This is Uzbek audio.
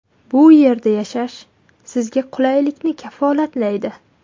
Bu yerda yashash sizga qulaylikni kafolatlaydi.